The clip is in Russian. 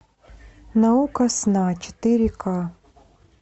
наука сна четыре ка